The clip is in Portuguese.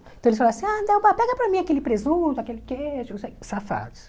Então, eles falavam ah Delba assim, pega para mim aquele presunto, aquele queijo, não sei safados.